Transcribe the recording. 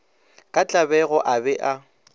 ka tlabego a be a